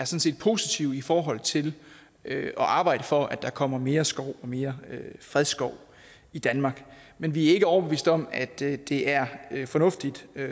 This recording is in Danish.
set positive i forhold til at arbejde for at der kommer mere skov og mere fredskov i danmark men vi er ikke overbevist om at det er fornuftigt